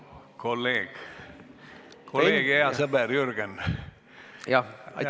Kolleeg ja hea sõber Jürgen!